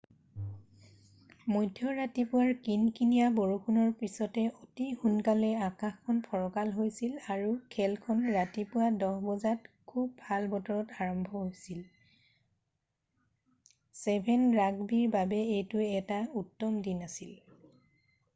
মধ্য ৰাতিপুৱাৰ কিনকিনিয়া বৰষুণৰ পিছতে অতি সোনকালে আকাশখন ফৰকাল হৈছিল আৰু খেলখন ৰাতিপুৱা 10:00 বজাত খুব ভাল বতৰত আৰম্ভ হৈছিল 7' ৰাগবি খেলৰ বাবে এইটো এটা উত্তম দিন আছিল